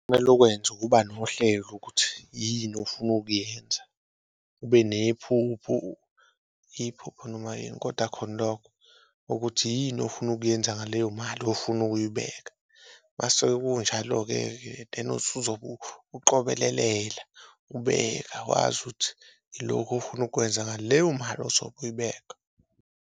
Kumele ukwenze ukuba nohlelo ukuthi yini ofuna ukuyenza ube nephuphu iphupho noma yini, koda khona lokho ukuthi yini ofuna ukuyenza ngaleyo mali ofuna ukuyibeka, mase kunjalo-keke then osuzobe uqobelelela ubeka, wazi ukuthi iloku ofuna ukwenza ngaleyo mali ozobe uyibeka.